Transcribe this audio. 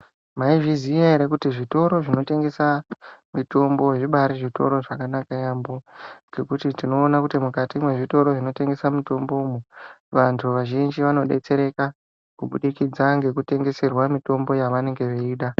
Mai zviziya ere kuti zvitoro zvinotengesa mitombo zvibaari zvitoro zvakanaka yaamho ngekuti tinoona kuti mukati mezvitoro zvinotengesa mitombo vantu vazhinji vanodetsereka kubudikidza ngekutengeserwa mitombo yevanenge veida.